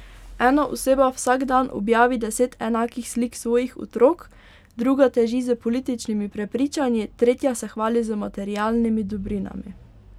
Ena oseba vsak dan objavi deset enakih slik svojih otrok, druga teži s političnimi prepričanji, tretja se hvali z materialnimi dobrinami.